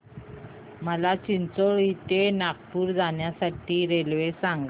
मला चिचोली ते नागपूर जाण्या साठी रेल्वे सांगा